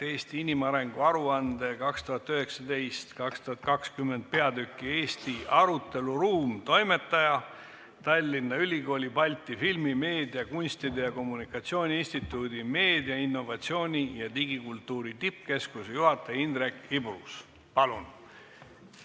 "Eesti inimarengu aruande 2019/2020" peatüki "Eesti aruteluruum" toimetaja, Tallinna Ülikooli Balti filmi, meedia, kunstide ja kommunikatsiooni instituudi meediainnovatsiooni ja digikultuuri tippkeskuse juhataja Indrek Ibrus, palun!